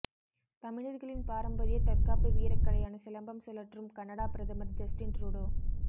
தமிழர்களின் பாரம்பரிய தற்காப்பு வீரக் கலையான சிலம்பம் சுழற்றும் கனடா பிரதமர் ஜஸ்டின் ட்ரூடோ